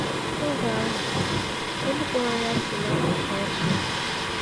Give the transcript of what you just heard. Oge ahụ, olu kpọrọ ya si n’akụkụ ọjị.